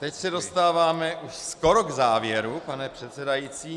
Teď se dostáváme už skoro k závěru, pane předsedající.